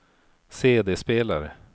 CD-spelare